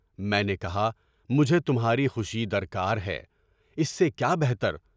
میں نے کہا، مجھے تمہاری خوشی درکار ہے، اس سے کیا بہتر؟